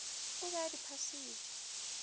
o be a di phasitše